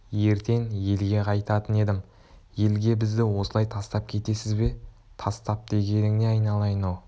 ертең елге қайтатын едім елге бізді осылай тастап кетесіз бе тастап дегенің не айналайын-ау